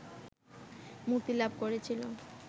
মুক্তি লাভ করেছিল